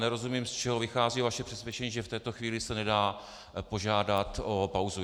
Nerozumím, z čeho vychází vaše přesvědčení, že v této chvíli se nedá požádat o pauzu.